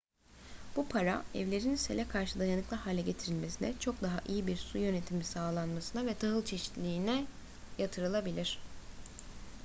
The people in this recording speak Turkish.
bu para evlerin sele karşı dayanıklı hale getirilmesine çok daha iyi bir su yönetimi sağlanmasına ve tahıl çeşitliliğine yatırılabilir